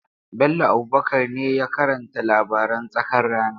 Bello Abubakar ne ya karanta labaran tsakar rana.